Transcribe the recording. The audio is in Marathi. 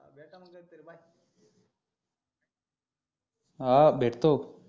हा हा भेटतो